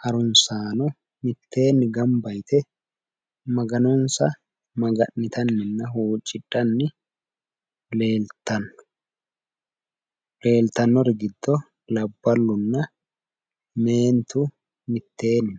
harunsaano mitteenni gamba yite maganonsa maga'nitanninna huuccidhanni leeltanno leeltannori giddo labballunna meentu mitteenni